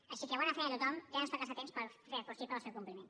així que bona feina a tothom i ara ens toca estar atents per fer possible el seu compliment